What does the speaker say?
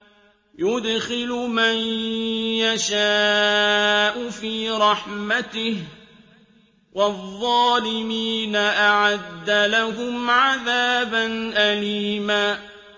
يُدْخِلُ مَن يَشَاءُ فِي رَحْمَتِهِ ۚ وَالظَّالِمِينَ أَعَدَّ لَهُمْ عَذَابًا أَلِيمًا